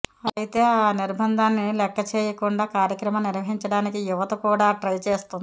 అయితే ఆ నిర్బంధాన్ని లెక్కచేయకుండా కార్యక్రమాన్ని నిర్వహించడానికి యువత కూడా ట్రై చేస్తోంది